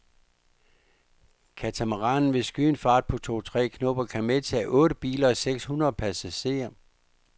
Katamaranen vil skyde en fart på tre otte knob og kan medtage otte biler og seks hundrede passagerer.